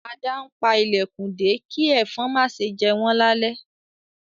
Ada npá ilẹkùn dé ki ẹ̀fọ̀n ma ṣe jé wọn lale